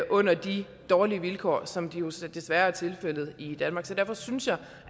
under de dårlige vilkår som det jo så desværre er tilfældet i danmark derfor synes jeg